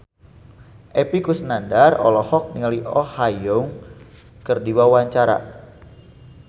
Epy Kusnandar olohok ningali Oh Ha Young keur diwawancara